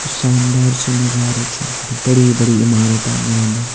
शानदार सी नजारू छा अर बड़ी बड़ी इमारतां बणौंदा।